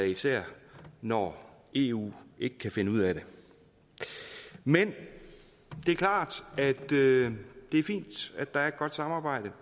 især når eu ikke kan finde ud af det men det er klart at det er fint at der er et godt samarbejde